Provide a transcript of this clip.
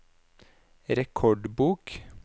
rekordbok